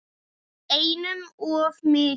Einum of mikið.